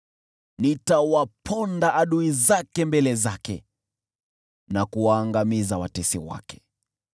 Nitawaponda adui zake mbele zake na kuwaangamiza watesi wake.